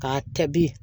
K'a kɛ bi